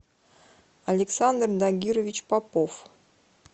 александр нагирович попов